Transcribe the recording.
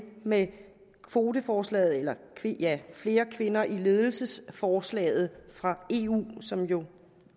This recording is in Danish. med kvoteforslaget eller flere kvinder i ledelse forslaget fra eu som jo